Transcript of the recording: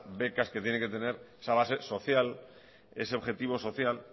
becas que tienen que tener esa base social ese objetivo social